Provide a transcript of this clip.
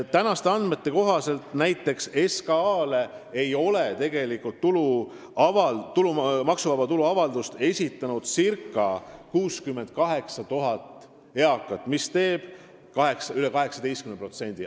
Tänaste andmete kohaselt ei ole näiteks SKA-le maksuvaba tulu avaldust esitanud circa 68 000 eakat, s.o üle 18%.